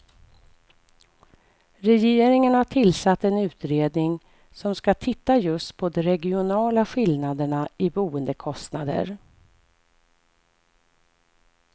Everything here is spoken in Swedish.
Regeringen har tillsatt en utredning som ska titta just på de regionala skillnaderna i boendekostnader.